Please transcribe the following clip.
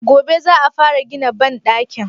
Gobe za a fara gina banɗakin?